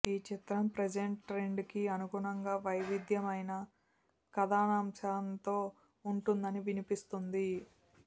ఈ చిత్రం present trend కి అనుగుణంగా వైవిధ్యమైన కథాంశంతో ఉంటుందని వినిపిస్తోంది